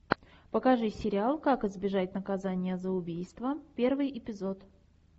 покажи сериал как избежать наказания за убийство первый эпизод